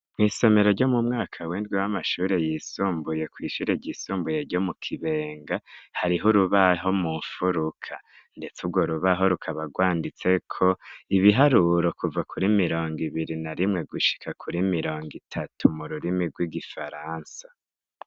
Mw'isomero ryo mu mwaka wendwi w'amashuri yisumbuye kwishuri ryisumbuye ryo mu kibenga hariho urubaho mu mfuruka, ndetse urwo rubaho rukabarwanditseko ibiharuro kuva kuri mirongo ibiri na rimwe gushika kuri mirongo itatu mu rurimi rw'igifaransa.